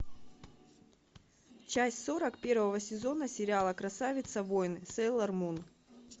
часть сорок первого сезона сериала красавица воин сейлормун